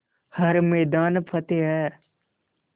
हर मैदान फ़तेह